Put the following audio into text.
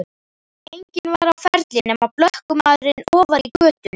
Enginn var á ferli nema blökkumaður ofar í götunni.